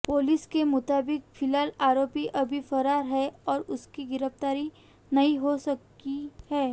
police के मुताबिक फिलहाल आरोपी अभी फरार है और उसकी गिरफ्तारी नहीं हो सकी है